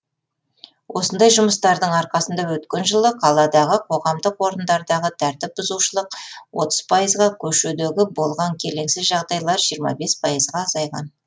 осындай жұмыстардың арқасында өткен жылы қаладағы қоғамдық орындардағы тәртіп бұзушылық отыз пайызға көшедегі болған келеңсіз жағдайлар жиырма бес пайызға азайған